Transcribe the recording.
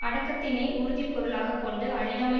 அடக்கத்தினை உறுதி பொருளாக கொண்டு அழியாமல்